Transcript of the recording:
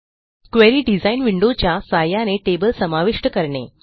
query design विंडोच्या सहाय्याने table समाविष्ट करणे